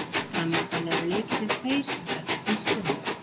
Framundan eru leikirnir tveir sem þetta snýst um.